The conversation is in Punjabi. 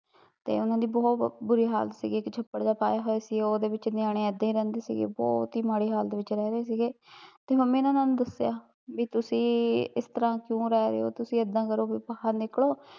ਤੇ ਓਹਨਾਂ ਦੀ ਬਹੁਤ ਬੁਰੀ ਹਾਲਤ ਸੀਗੀ ਇੱਕ ਛੱਪੜ ਜਿਹਾ ਪਾਇਆ ਹੋਇਆ ਸੀ ਉਹ ਉਹਦੇ ਵਿੱਚ ਨਿਆਣੇ ਏਦੇ ਰਹਿਣਦੇ ਸੀਗੇ, ਬਹੁਤ ਈ ਮਾੜੀ ਹਾਲਤ ਵਿੱਚ ਰਹਿ ਰਹੇ ਸੀਗੇ ਤੇ ਮੰਮੀ ਨੇ ਉਹਨਾਂ ਨੂੰ ਦੱਸਿਆ ਵੀ ਤੁਸੀਂ ਇਸਤਰਾਂ ਕਿਉ ਰਹਿ ਰਹੇ ਓ ਤੁਸੀਂ ਏਦਾਂ ਕਰੋ ਵੀ ਬਾਹਰ ਨਿਕਲੋ